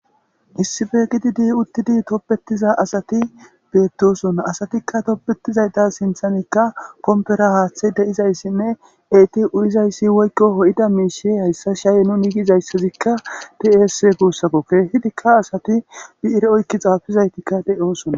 Issippe giddid uttidi tobetiza asati bettosona asatikka tobbetizaytta sinththan pomppera haththey deizayssine eeti uyyizayssi woykko hoida mishsha hayssa shaye nuni gizayssazi de'es guussako kehidika assati biire oykki xafizayrtika de'ossona.